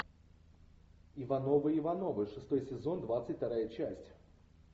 ивановы ивановы шестой сезон двадцать вторая часть